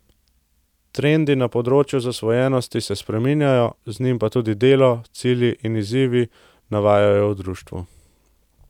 Trendi na področju zasvojenosti se spreminjajo, z njim pa tudi delo, cilji in izzivi, navajajo v društvu.